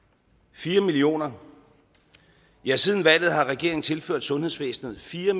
fire millioner ja siden valget har regeringen tilført sundhedsvæsenet fire